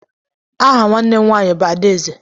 Aha nwanne m nwaanyị bụ Adaeze.